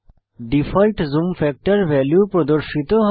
default zoom factor value প্রদর্শিত হয়